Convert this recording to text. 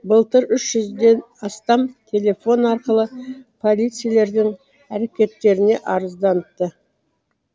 былтыр үш жүзден астам телефон арқылы полицейлердің әрекеттеріне арызданыпты